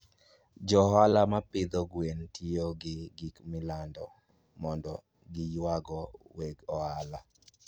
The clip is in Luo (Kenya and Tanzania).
Jo ohala mag pidho gwen tiyo gi gik milando mondo giywago weg ohala.